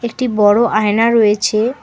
একটি বড়ো আয়না রয়েছে।